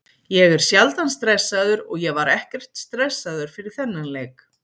Ég er sjaldan stressaður og ég var ekkert stressaður fyrir þennan leik.